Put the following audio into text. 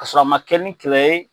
K'a sɔrɔ a ma kɛ ni kɛlɛ ye.